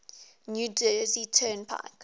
new jersey turnpike